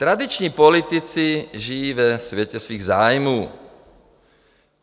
Tradiční politici žijí ve světě svých zájmů.